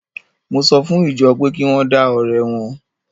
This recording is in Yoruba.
Mo sọ fún ìjọ pé kí wọ́n dá ọrẹ wọn.